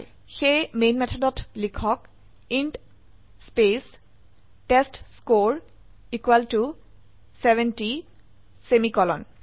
সেয়ে মেন মেথডত লিখক ইণ্ট স্পেস টেষ্টস্কৰে 70 সেমিকোলন